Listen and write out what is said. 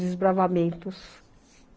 Desbravamentos